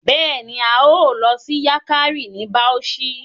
Bẹẹni, a yoo lọ si Yankari ni Bauchi